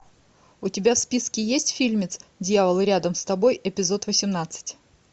у тебя в списке есть фильмец дьявол рядом с тобой эпизод восемнадцать